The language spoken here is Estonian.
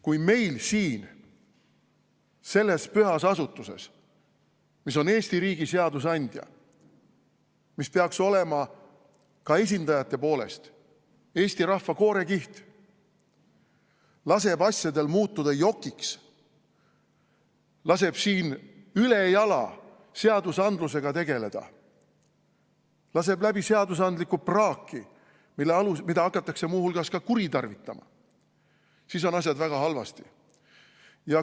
Kui meil siin see püha asutus, mis on Eesti riigi seadusandja, mis peaks olema ka esindajate poolest Eesti rahva koorekiht, laseb asjadel muutuda jokiks, laseb siin ülejala seadusandlusega tegeleda, laseb läbi seadusandlikku praaki, mida hakatakse muu hulgas ka kuritarvitama, siis on asjad väga halvasti.